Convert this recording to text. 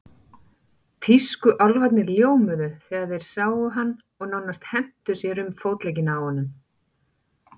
Tískuálfarnir ljómuðu þegar þeir sáum hann og nánast hentu sér um fótleggina á honum.